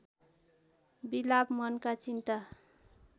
विलाप मनका चिन्ता